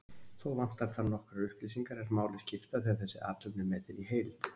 Þó vantar þar nokkrar upplýsingar er máli skipta þegar þessi athöfn er metin í heild.